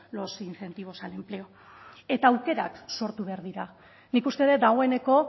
los incentivos al empleo eta aukerak sortu behar dira nik uste dut dagoeneko